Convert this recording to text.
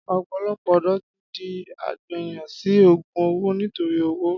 Ọ̀pọ̀lọpọ̀ ọ̀dọ́ ti di àgbẹyàn sẹ ògún òwó nitori òwó.